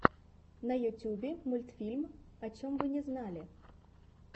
на ютубе мультфильм о чем вы не знали